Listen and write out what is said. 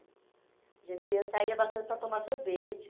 A gente ia saía bastante para tomar sorvete.